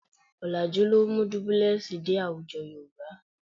Ọ̀làjú ló mú dúbúlẹ́ẹ̀sì dé àwùjọ Yorùbá